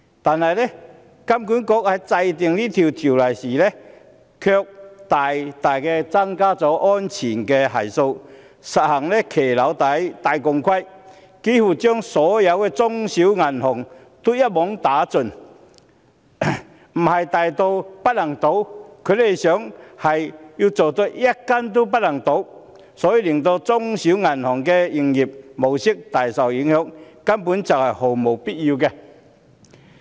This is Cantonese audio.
但是，香港金融管理局在制訂這項規定時，卻加大了安全系數，實行"行騎樓底戴鋼盔"，幾乎把所有中小型銀行一網打盡，不是要做到大到不能倒，而是要做到一間也不能倒，令中小型銀行的營運模式大受影響，這根本是毫無必要的。